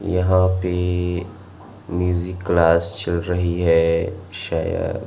यहां पे music class चल रही है शायद--